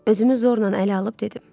Özümü zorla ələ alıb dedim: